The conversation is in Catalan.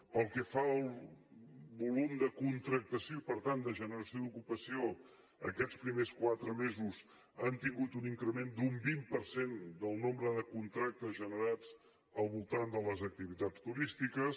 pel que fa al volum de contractació i per tant de generació d’ocupació aquests primers quatre mesos han tingut un increment d’un vint per cent del nombre de contractes generats al voltant de les activitats turístiques